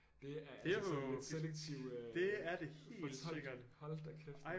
Det er altså sådan lidt selektiv øh fortolkning hold da kæft